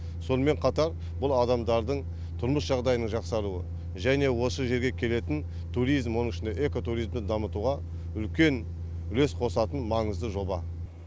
сонымен қатар бұл адамдардың тұрмыс жағдайының жақсаруы және осы жерге келетін туризм оның ішінде экотуризмді дамытуға үлкен үлес қосатын маңызды жоба